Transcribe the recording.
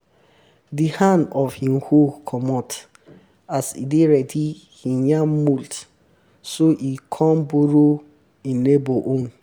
di hand of hin hoe comot as e dey ready hin yam mould so e come borrow um hin neighbour own